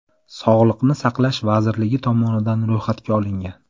Sog‘liqni saqlash vazirligi tomonidan ro‘yxatga olingan.